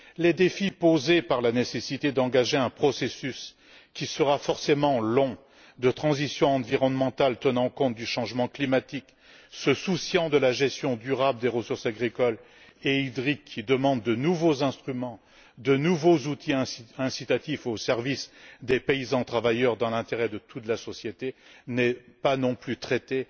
Les défis posés par la nécessité d'engager un processus, forcément long, de transition environnementale tenant compte du changement climatique, soucieux de la gestion durable des ressources agricoles et hydriques, qui demande de nouveaux instruments, de nouveaux outils incitatifs au service des paysans travailleurs dans l'intérêt de toute la société, ne sont pas non plus traités